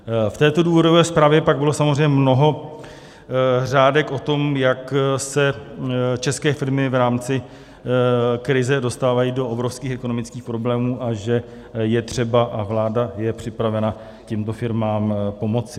V této důvodové zprávě pak bylo samozřejmě mnoho řádek o tom, jak se české firmy v rámci krize dostávají do obrovských ekonomických problémů a že je třeba, a vláda je připravena, těmto firmám pomoci.